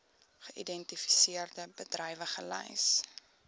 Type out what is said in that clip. geïdentifiseerde bedrywe gelys